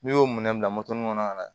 N'i y'o minɛ bila kɔnɔ ka na